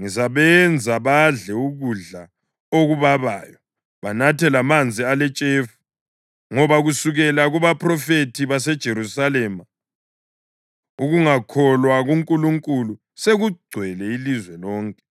“Ngizabenza badle ukudla okubabayo, banathe lamanzi aletshefu, ngoba kusukela kubaphrofethi baseJerusalema ukungakholwa kuNkulunkulu sekugcwele ilizwe lonke.”